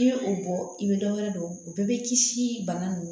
i bɛ o bɔ i bɛ dɔ wɛrɛ dɔn o bɛɛ bɛ kisi bana nunnu